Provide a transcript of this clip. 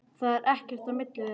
Það er ekkert á milli þeirra.